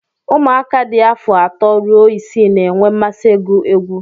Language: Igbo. ụmụaka dị afọ atọ ruo isii na-enwe mmasị ịgụ egwu